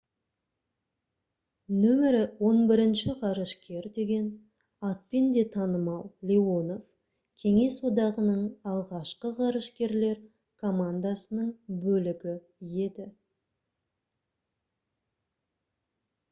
«№ 11 ғарышкер» деген атпен де танымал леонов кеңес одағының алғашқы ғарышкерлер командасының бөлігі еді